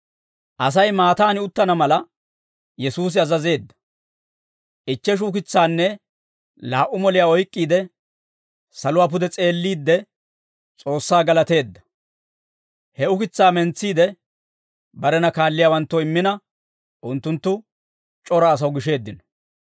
Asay maattaani uttana mala, Yesuusi azazeedda; ichcheshu ukitsaanne laa"u moliyaa oyk'k'iide, saluwaa pude s'eelliide, S'oossaa galateedda; he ukitsaa mentsiide, barena kaalliyaawanttoo immina, unttunttu c'ora asaw gisheeddino.